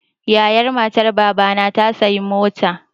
Yayan matar Baba na ta sayi mota.